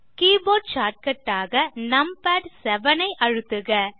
keyboard shortcut ஆக numpad 7 ஐ அழுத்துக